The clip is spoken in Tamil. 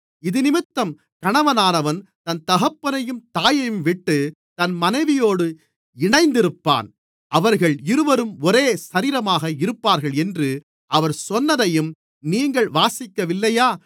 இதினிமித்தம் கணவனானவன் தன் தகப்பனையும் தாயையும்விட்டுத் தன் மனைவியோடு இணைந்திருப்பான் அவர்கள் இருவரும் ஒரே சரீரமாக இருப்பார்கள் என்று அவர் சொன்னதையும் நீங்கள் வாசிக்கவில்லையா